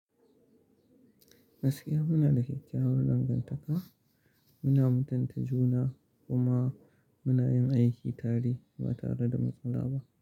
Gaskiya muna da kyakkyawar dangantaka, muna muntajuna kuma muna yin aiki tare ba tare da matsala ba.